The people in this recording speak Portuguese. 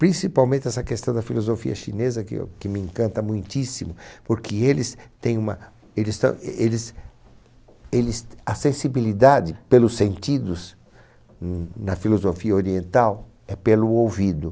Principalmente essa questão da filosofia chinesa, que eu que me encanta muitíssimo, porque eles têm uma... Eles ta, eles, eles, a sensibilidade pelos sentidos n na filosofia oriental é pelo ouvido.